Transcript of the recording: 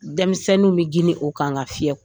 Denmisɛnninw bɛ girin o kan k'a fiyɛ